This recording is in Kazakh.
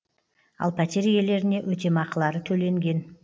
ал пәтер иелеріне өтемақылары төленген